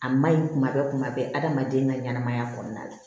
A maɲi kuma bɛɛ kuma bɛɛ adamaden ka ɲɛnɛmaya kɔnɔna la